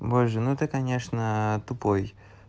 боже ну ты конечно тупой